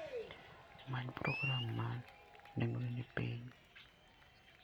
Many program ma nengone ni piny.